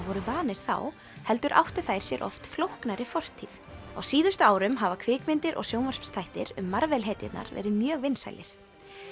voru vanir þá heldur áttu þær sér oft flóknari fortíð á síðustu árum hafa kvikmyndir og sjónvarpsþættir um Marvel hetjurnar verið mjög vinsælir